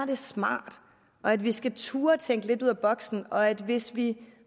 det smart og at vi skal turde tænke lidt ud af boksen og at vi hvis vi